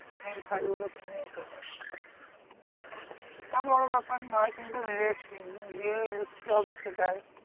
Main file গুলো কিনে নিতে হবে। সেটা বড় ব্যাপার নয় কিন্তু লেখ গিয়ে লিখতে হবে সেটাই।